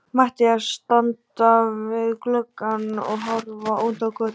Matthías standa við gluggann og horfa út á götuna.